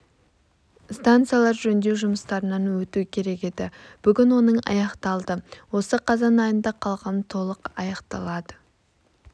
станциялар жөндеу жұмыстарынан өту керек еді бүгін оның аяқталды осы қазан айында қалған толық аяқталады